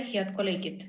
Head kolleegid!